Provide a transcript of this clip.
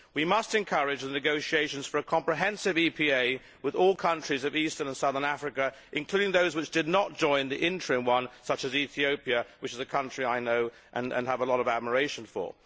We must encourage the negotiations for a comprehensive EPA with all countries of Eastern and Southern Africa, including those which did not join the interim one, such as Ethiopia, which is a country I know and have a lot of admiration for.